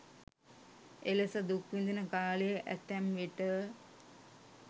එලෙස දුක් විඳින කාලය ඇතැම්විට